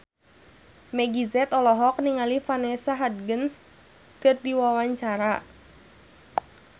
Meggie Z olohok ningali Vanessa Hudgens keur diwawancara